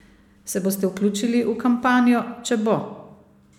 Se boste vključili v kampanjo, če bo?